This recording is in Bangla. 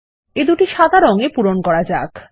এ দুটি সাদা রঙে পূরণ করা যাক